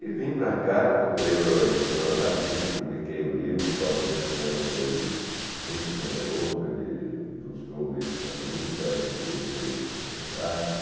E vim para cá, procurei a editora Martins, publiquei o livro, Clóvis Graciano foi muito generoso, ele ilustrou o livro para mim, o Sérgio millietr fez um prefácio.